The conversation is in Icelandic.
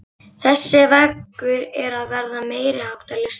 Þessi veggur er að verða meiriháttar listaverk!